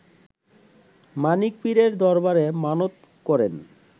মানিক পীরের দরবারে মানত করেন